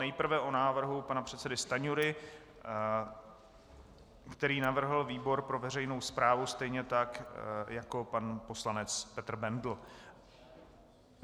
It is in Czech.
Nejprve o návrhu pana předsedy Stanjury, který navrhl výbor pro veřejnou správu, stejně tak jako pan poslanec Petr Bendl.